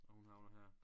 Og hun havner her